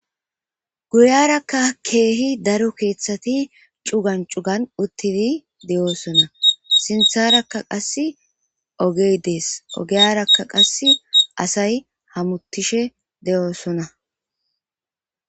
Guyaraka kehi daro keethati cugan c'ugan uttidi de'osona.sintharaka qasi oggey dees. Oggiyaraka qasi asay hamutishe de'osona.